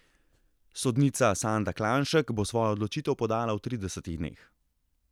Sodnica Sanda Klanšek bo svojo odločitev podala v tridesetih dneh.